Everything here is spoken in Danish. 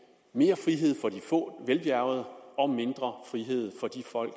mere frihed for de få velbjærgede og mindre frihed for de folk